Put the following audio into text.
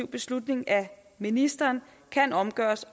beslutning af ministeren kan omgøres